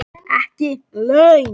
Ekki laun.